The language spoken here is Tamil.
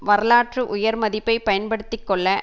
வரலாற்று உயர்மதிப்பைப் பயன்படுத்தி கொள்ள